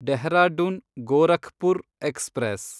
Dehradun Gorakhpur express